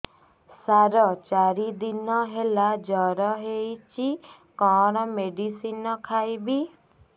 ସାର ଚାରି ଦିନ ହେଲା ଜ୍ଵର ହେଇଚି କଣ ମେଡିସିନ ଖାଇବି